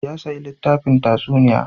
Ya sayi littafin tatsuniya.